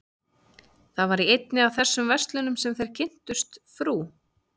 Það var í einni af þessum verslunum sem þeir kynntust frú